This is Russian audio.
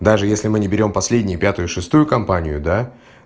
даже если мы не берём последние пятую и шестую компанию да